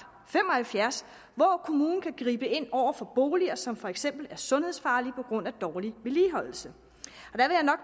fem og halvfjerds hvor kommunen kan gribe ind over for boliger som for eksempel er sundhedsfarlige på grund af dårlig vedligeholdelse